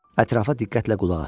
Ətrafa diqqətlə qulaq asdı.